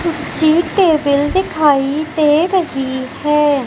कुर्सी टेबिल दिखाई दे रही है।